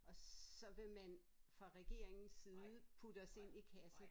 Og så vil man fra regeringens side putte os ind i kasse